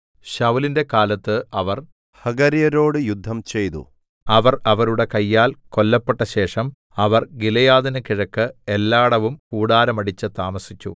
ശൌലിന്റെ കാലത്ത് അവർ ഹഗര്യരോട് യുദ്ധംചെയ്തു അവർ അവരുടെ കയ്യാൽ കൊല്ലപ്പെട്ടശേഷം അവർ ഗിലെയാദിന് കിഴക്ക് എല്ലാടവും കൂടാരം അടിച്ച് താമസിച്ചു